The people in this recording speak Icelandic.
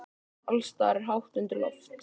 Alls staðar er hátt undir loft.